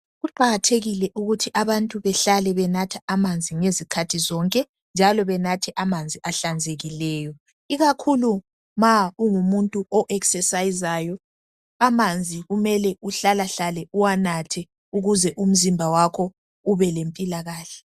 Kuqakathekile ukuthi abantu behlale benatha amanzi ngezikhathi zonke njalo benathe amanzi ahlanzekileyo, ikakhulu ma ungumuntu onabulula umzimba amanzi kumele uhlalahlale uwanatha ukuze umzimba wakho ubelempilakahle.